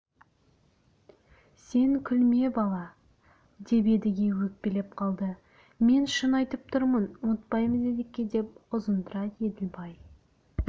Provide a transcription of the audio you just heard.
сен күлме бала деп едіге өкпелеп қалды мен шын айтып тұрмын ұмытпаймыз едеке деп ұзынтұра еділбай